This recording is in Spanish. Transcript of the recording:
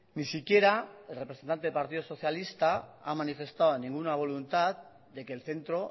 ni siquiera el representante del partido socialista ha manifestado ninguna voluntad de que el centro